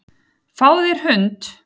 Fáðu þér hund.